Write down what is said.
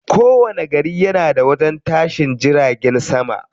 Kowani gari yana da wajen tashin jiragen sama.